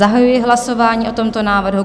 Zahajuji hlasování o tomto návrhu.